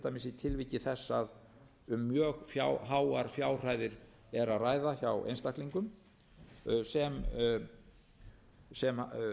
dæmis í tilviki þess að um mjög háar fjárhæðir er að ræða hjá einstaklingum sem